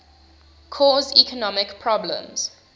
cause economic problems